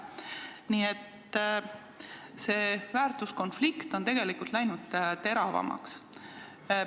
Nii et väärtuskonflikt on tegelikult läinud teravamaks.